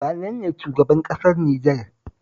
Wane ne shugaban ƙasar Nijar?